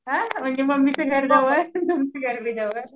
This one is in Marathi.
अं म्हणजे मम्मीच घर जवळ घर जवळ